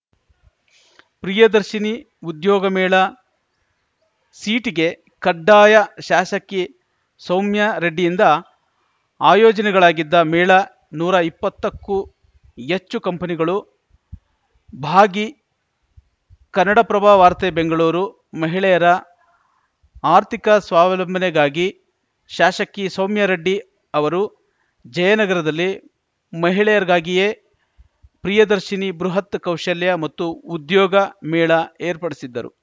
ಪ್ರಿಯದರ್ಶಿನಿ ಉದ್ಯೋಗ ಮೇಳ ಸೀಟ್ ಗೆ ಕಡ್ಡಾಯ ಶಾಸಕಿ ಸೌಮ್ಯಾರೆಡ್ಡಿಯಿಂದ ಆಯೋಜನೆಗಳಾಗಿದ್ದ ಮೇಳ ನೂರಾ ಇಪ್ಪತ್ತ ಕ್ಕೂ ಎಚ್ಚು ಕಂಪನಿಗಳು ಭಾಗಿ ಕನ್ನಡಪ್ರಭ ವಾರ್ತೆ ಬೆಂಗಳೂರು ಮಹಿಳೆಯರ ಆರ್ಥಿಕ ಸ್ವಾವಲಂಬನೆಗಾಗಿ ಶಾಸಕಿ ಸೌಮ್ಯಾರೆಡ್ಡಿ ಅವರು ಜಯನಗರದಲ್ಲಿ ಮಹಿಳೆಯರಿಗಾಗಿಯೇ ಪ್ರಿಯದರ್ಶಿನಿ ಬೃಹತ್‌ ಕೌಶಲ್ಯ ಮತ್ತು ಉದ್ಯೋಗ ಮೇಳ ಏರ್ಪಡಿಸಿದ್ದರು